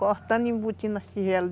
Cortando e embutindo na tigela.